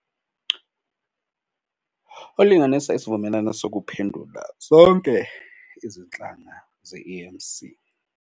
Ulinganisa isivumelano sokuphendula zonke izinhlanga ze-E_M_C.